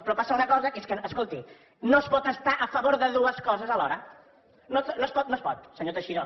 però passa una cosa que és que escolti no es pot estar a favor de dues coses alhora no es pot senyor teixidó